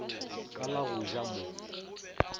ka la go ja mo